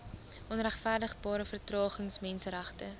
onregverdigbare vertragings menseregte